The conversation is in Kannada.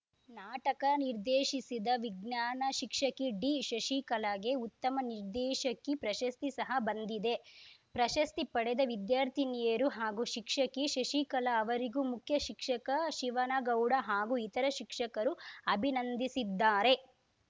ನಾಟಕ ನಿರ್ದೇಶಿಸಿದ ವಿಜ್ಞಾನ ಶಿಕ್ಷಕಿ ಡಿಶಶಿಕಲಾಗೆ ಉತ್ತಮ ನಿರ್ದೇಶಕಿ ಪ್ರಶಸ್ತಿ ಸಹ ಬಂದಿದೆ ಪ್ರಶಸ್ತಿ ಪಡೆದ ವಿದ್ಯಾರ್ಥಿನಿಯರು ಹಾಗೂ ಶಿಕ್ಷಕಿ ಶಶಿಕಲಾ ಅವರಿಗೂ ಮುಖ್ಯ ಶಿಕ್ಷಕ ಶಿವನಗೌಡ ಹಾಗೂ ಇತರ ಶಿಕ್ಷಕರು ಅಭಿನಂದಿಸಿದ್ದಾರೆ